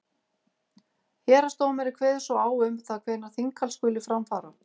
héraðsdómari kveður svo á um það hvenær þinghald skuli fara fram